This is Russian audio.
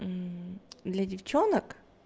для девчонок